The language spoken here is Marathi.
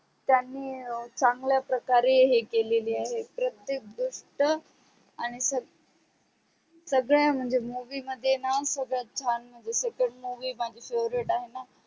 त्यांनी चांगल्या प्रकारे हे केलेली आहे प्रतेक गोष्ट आणि संगड्या संगड्या म्हणजे movie मध्ये णा सगडे छान म्हणजे सगडे movie माझी favorite आहेण